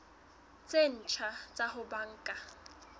tse ntjha tsa ho banka